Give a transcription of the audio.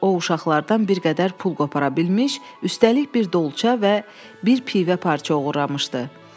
O uşaqlardan bir qədər pul qopara bilmiş, üstəlik bir dolça və bir pivə parça oğurlamışdı.